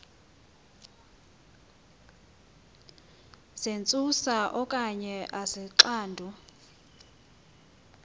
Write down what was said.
zentsusa okanye izixando